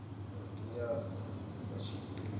uri ndi ngani vha tshi